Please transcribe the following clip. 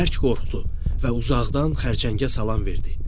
O bərk qorxdu və uzaqdan xərçəngə salam verdi.